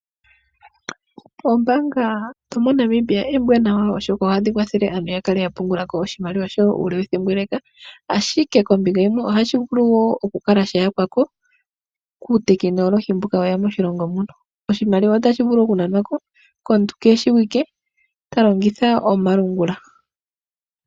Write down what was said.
Oombaanga dhomoNamibia oombwanawa oshoka ohadhi kwathele aantu ya kale ya pungula ko oshimaliwa shawo uule wethimbo ele ashike kombinga yimwe ohashi wo vulu okukala sha yakwa ko kuutekinolohi mbuka weya moshilongo muno. Oshimaliwa otashi vulu okunanwa ko komuntu keeshiwike ta longitha omalungula.